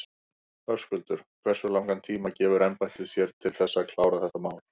Höskuldur: Hversu langan tíma gefur embættið sér til þess að klára þetta mál?